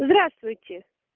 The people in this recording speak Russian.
здравствуйте